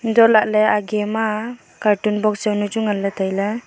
antohlaley aage ma cartoon box jaunu chu nganley tailey.